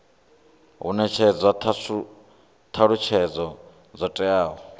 hu netshedzwa thalutshedzo dzo teaho